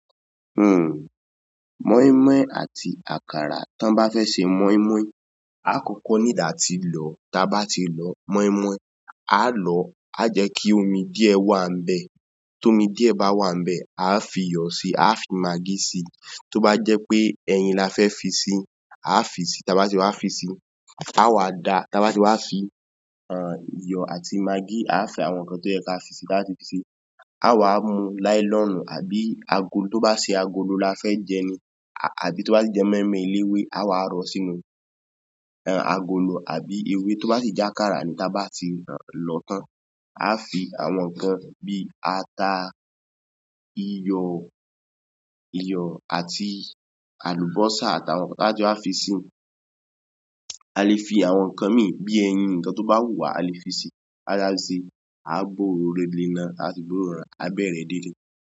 Nǹ, mọ́ínmọ́ín àti àkàrà. Tí wọ́n bá fẹ́ ṣe mọ́ínmọ́ín, a kò kọ need àti lọ̀. Tí a bá ti lọ mọ́ínmọ́ín, á á lọ̀ ọ́, a jẹ́ kí omi díẹ̀ wà ń bẹ̀ tómi díẹ̀ bá wà ń bẹ̀, a á fiyọ̀ si a á fi magí sí i. Tó bá jẹ́ pé ẹyin la fẹ́ fi síi, a á fi sí i. Tí a bá ti wá fi síi a á wá da. Tí a bá ti wá fi iyọ̀ àti magí, a á fi àwọn nǹkan tó yẹ ká fi sí i táa fi sè é. A á wá mú láílọ́ọ́nù àbí agolo. Tó ba se agolo la fẹ́ jẹ ni, àbí tó ba sì jẹ mọ́ínmọ́ín eléwé, a á wa rọ ọ́ sínú agolo àbí eléwé, tó bà sí jẹ àkàrà ni, a á lọ a á fi àwọn nǹkan bíi ata, iyọ̀ iyọ̀ àti àlùbọ́sà àtàwọn a á fi sí i. A le fi àwọn nǹkan míì bíi ẹyin nǹkan tó bá wù wá. A le fi sí i tá bá ti wá fi síi, a á gbé òróró léná tábà ti gbóròró abẹ̀ rẹ̀.